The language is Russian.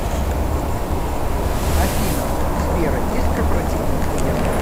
афина у сбера есть корпоративные клиенты